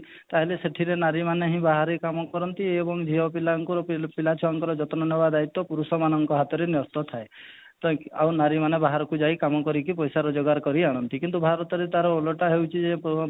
ତାହେଲେ ସେଥିରେ ନାରୀ ମାନେ ହିଁ ବାହାରେ କାମ କରନ୍ତି ଏବଂ ଝିଅ ପିଲାଙ୍କୁ ପିଲା ଛୁଆଙ୍କର ଯତ୍ନ ନେବା ଦାୟିତ୍ୱ ପୁରୁଷ ମାନଙ୍କ ହାତରେ ନେହତ ଥାଏ ତ ନାରୀ ମାନେ ବାହାରକୁ ଯାଇ କାମ କରିକି ପଇସା ରୋଜଗାର କରି ଆଣନ୍ତି କିନ୍ତୁ ଭାରତରେ ତା'ର ଓଲଟା ହେଉଛି ଯେ ପୁଅ